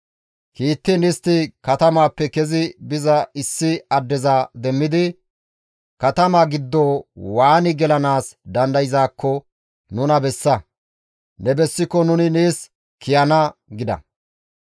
Kiittiin istti katamaappe kezi biza issi addeza demmidi, «Katamaa giddo waani gelanaas dandayettizaakko nuna bessa; ne bessiko nuni nees kiyana» gida.